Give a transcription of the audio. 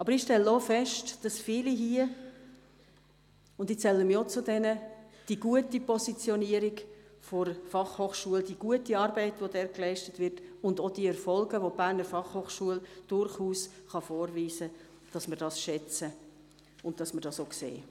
Ich stelle auch fest, dass viele hier – dazu zähle ich mich auch – die gute Positionierung der BFH und die gute Arbeit, welche geleistet wird, und auch die Erfolge, welche die BFH durchaus vorweisen kann, sehen und schätzen.